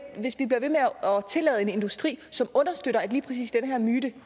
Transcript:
tillade en industri som understøtter at lige præcis den her myte